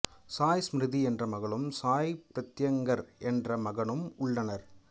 சாய் ஸ்மிரிதி என்ற மகளும் சாய் பிரத்யங்கர் என்ற மகனும் உள்ளனர்